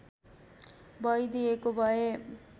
भईदिएको भए